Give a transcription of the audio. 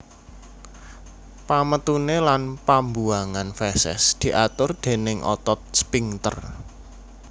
Pametuné lan pambuwangan feses diatur déning otot sphinkter